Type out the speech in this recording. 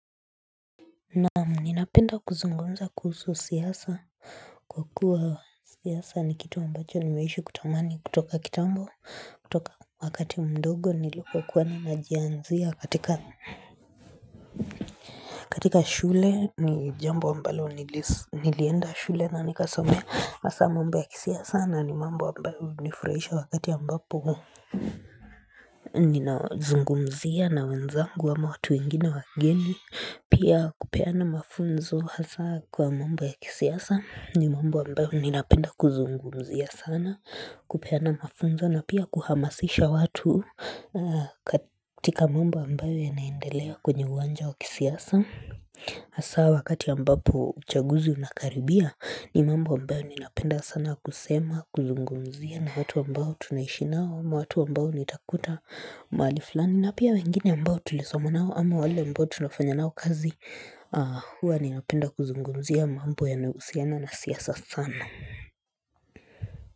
Naam ninapenda kuzungumza kuhusu siasa kwa kuwa siasa ni kitu ambacho nimeishi kutamani kutoka kitambo kutoka wakati mdogo nilikuwa kuwa ninajiaanzia katika katika shule ni jambo ambalo nili nilienda shule na nikasomea hasa mambo ya kisiasa na ni mambo wa ambayo hunifurahisha wakati ambapo Ninazungumzia na wenzangu ama watu wengine wageni Pia kupeana mafunzo hasa kwa mambo ya kisiasa ni mambo ambayo ninapenda kuzungumzia sana kupeana mafunzo na pia kuhamasisha watu katika mambo ambayo yanaendelea kwenye uwanja wa kisiasa Hasa wakati ambapo uchaguzi unakaribia ni mambo ambayo ninapenda sana kusema kuzungumzia na watu ambao tunaishi nao, ama watu ambao nitakuta mahali fulani na pia wengine ambao tulisoma nao ama wale ambao tunafanya nao kazi hua ninapenda kuzungumzia mambo yanayohusiana na siasa sana.